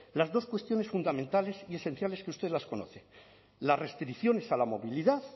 las dos cuestiones fundamentales y esenciales que ustedes las conocen las restricciones a la movilidad